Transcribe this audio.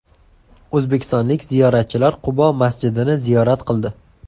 O‘zbekistonlik ziyoratchilar Qubo masjidini ziyorat qildi .